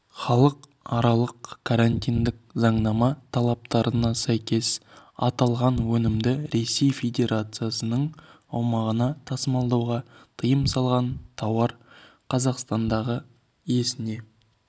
халықаралық карантиндік заңнама талаптарына сәйкес аталған өнімді ресей федерациясының аумағына тасымалдауға тыйым салынған тауар қазақстандағы иесіне